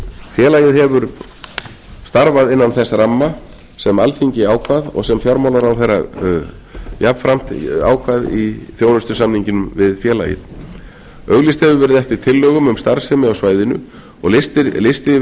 félagið hefur starfað innan þess ramma sem alþingi ákvað og sem fjármálaráðherra jafnframt ákvað í þjónustusamningnum við félagið auglýst hefur verið eftir tillögum um starfsemi á svæðinu og listi yfir